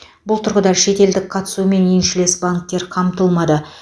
бұл тұрғыда шетелдік қатысумен еншілес банктер қамтылмады